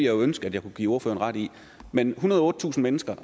ønske at jeg kunne give ordføreren ret i men ethundrede og ottetusind mennesker